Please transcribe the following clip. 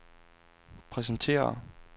præsenterer